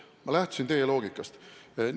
Ma lähtusin teie loogikast!